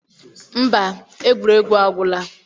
Mba, egwuregwu agwụla.